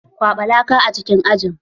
Kwaɓa laka a cikin aji!